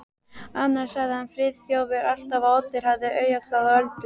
Annars sagði Friðþjófur alltaf að Oddur hefði augastað á Öldu.